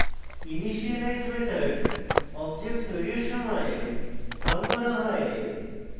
initialize method object তৈরীর সময় call করা হয়